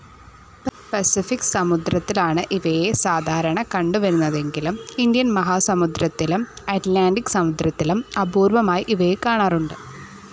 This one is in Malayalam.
പസഫിക്ക് സമുദ്രത്തിലാണ് ഇവയെ സാധാരണ കണ്ടുവരുന്നതെങ്കിലും ഇന്ത്യൻ മഹാസമുദ്രത്തിലും അറ്റ്ലാന്റിക്ക് സമുദ്രത്തിലും അപൂർവ്വമായി ഇവയെ കാണാറുണ്ട്.